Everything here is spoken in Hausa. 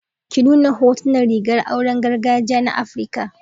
Ki nuna hotunan rigar auren gargajiya na Afirka.